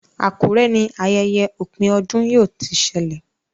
Akure ní ayẹyẹ opin ọdún yíò to sẹlẹ